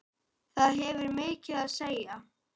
Það hefur mikið að segja.